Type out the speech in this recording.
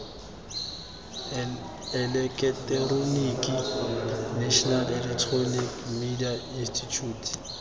eleketeroniki national electronic media institute